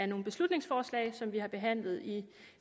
nogle beslutningsforslag som vi har behandlet i